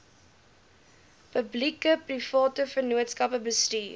publiekeprivate vennootskappe bestuur